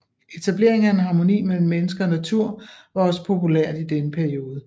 Etablering af en harmoni mellem menneske og natur var også populært i denne periode